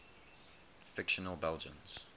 fictional belgians